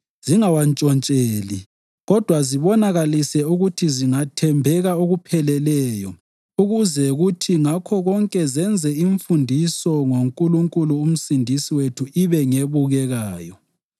zingawantshontsheli, kodwa zibonakalise ukuthi zingathembeka okupheleleyo ukuze kuthi ngakho konke zenze imfundiso ngoNkulunkulu uMsindisi wethu ibe ngebukekayo.